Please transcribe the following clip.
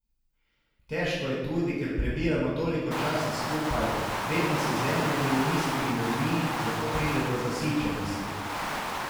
Težko je tudi, ker prebijemo toliko časa skupaj, vedno si z enimi in istimi ljudmi, zato pride do zasičenosti.